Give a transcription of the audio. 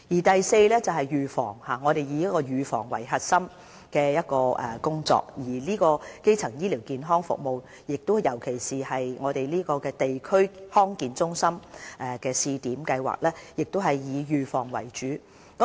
第四是預防，我們以預防作為核心工作，而基層醫療健康服務，尤其是地區康健中心的試點計劃，亦以預防為主。